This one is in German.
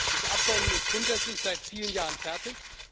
Das Abkommen ist grundsätzlich seit vielen Jahren fertig.